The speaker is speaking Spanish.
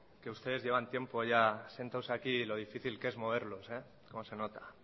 que ustedes llevan tiempo ya sentados aquí y lo difícil que es moverlos cómo se nota